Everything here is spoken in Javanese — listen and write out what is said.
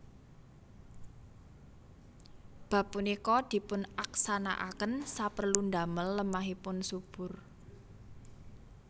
Bab punika dipunaksanakaken saperlu damel lemahipun subur